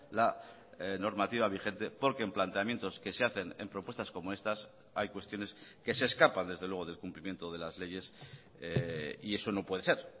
la normativa vigente porque en planteamientos que se hacen en propuestas como estas hay cuestiones que se escapan desde luego del cumplimiento de las leyes y eso no puede ser